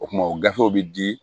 O tuma o gafew bɛ di